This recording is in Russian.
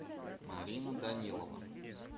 марина данилова